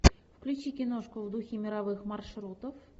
включи киношку в духе мировых маршрутов